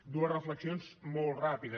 dues reflexions molt ràpides